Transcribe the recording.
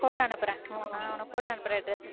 photo அனுப்புறேன் நான் உனக்கு photo அனுப்புறேன் dress